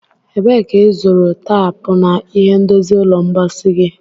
Ebee ka ịzụrụ taapu na ihe ndozi ụlọ mposi gị?